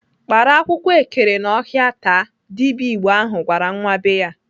"Kpara akwụkwọ ekere n'ọhịa taa!" Dibịa Igbo ahụ gwara nwa be ya.